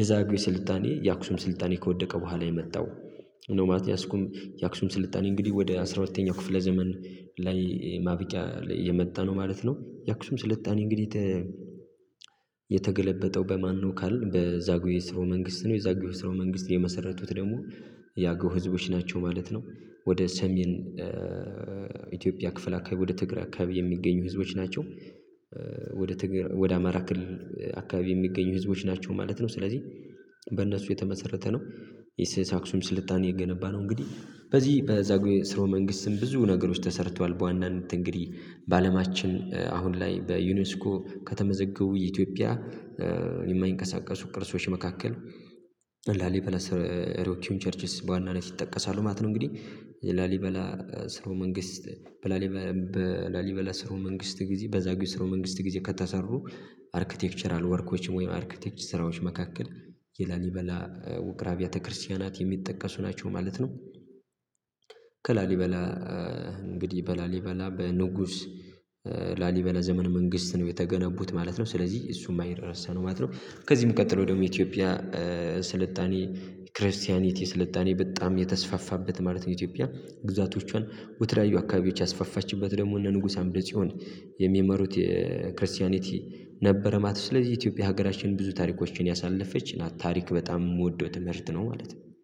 የዛግዌ ስልጣኔ የአክሱም ስልጣኔ ከወደቀ በኋላ የመጣው ነው። የአስኩም የአክሱም ስልጣኔ እንግዲህ ወደ አስራ ሁለተኛው ክፍለ ዘመን ላይ ማብቂያ የመጣ ነው ማለት ነው። የአክሱም ስልጣኔ እንግዲህ የተገለበጠው በማነው ካልን በዛጉዌ ስርወ መንግስት ነው። የዛጉዌ የስርወ መንግስት የመሰረቱት ደግሞ የአገው ህዝቦች ናቸው ማለት ነው። ወደ ሰሜን ኢትዮጵያ ክፍል አካባቢ ወደ ትግራይ አካባቢ የሚገኙ ህዝቦች ናቸው ወደ ትግርይ ወደ አማራ ክልል አካባቢ የሚገኙ ህዝቦች ናቸው ማለት ነው። ስለዚህ በእነሱ የተመሰረተ ነው። የስስ የአክሱም ስልጣኔ የገነባ ነው። እንግዲህ በዚህ በዛግዌ ስሮወ መንግስትም ብዙ ነገሮች ተሰርቷል በዋናነት እንግዲህ በአለማችን አሁን ላይ በዩኒስኮ ከተመዘገው የኢትዮጵያ የማይንቀሳቀሱ ቅርሶች መካከል ላሊበላ ሮኪውን ቸርችስ በዋናነት ይጠቀሳሉ ማለት ነው። እንግዲህ ላሊበላ ሰርወ መንግስት በላሊበላ ስርወ መንግስት ጊዜ በዛግዌ ስርወ መንግስት ጊዜ ከተሰሩ አርክቴክቸራል ወርኮች ወይም አርክቴክት ስራዎች መካከል የላሊበላ ውቅር አብያተ ክርስቲያናት የሚጠቀሱ ናቸው ማለት ነው። ከላሊበላ እንግዲህ በላሊበላ በንጉስ ላሊበላ ዘመን መንግስት ነው የተገነቡት ማለት ነው። ስለዚህ እሱም አይረሳም ማለት ነው። ከዚህም ቀጥሎ ደግሞ ኢትዮጵያ ስልጣኔ ክርስቲያኒቲ ስልጣኔ በጣም የተስፋፋበት ማለት ነው። ኢትዮጵያ ግዛቶቿን ወደ ተለያዩ አካባቢዎች ያስፈፋችበት ደግሞ እነ ንጉስ አምደጽዮን የሚመሩት የክርስቲያኒቲ ነበረ ማለት ነው። ስለዚህ ኢትዮጵያ ሀገራችን ብዙ ታሪኮችን ያሳለፈች ናት ታሪክ በጣም የምወደው ትምህርት ነው ማለት ነው